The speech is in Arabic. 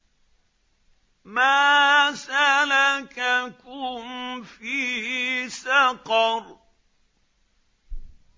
مَا سَلَكَكُمْ فِي سَقَرَ